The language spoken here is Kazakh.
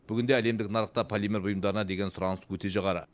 бүгінге әлемдік нарықта полимер бұйымдарына деген сұраныс өте жоғары